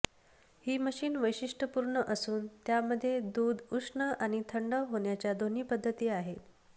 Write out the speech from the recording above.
ही machine वैशिष्टय़पूर्ण असून त्यामध्ये दूध उष्ण आणि थंड होण्याच्या दोन्ही पद्धती आहेत